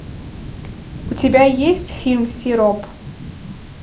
у тебя есть фильм сироп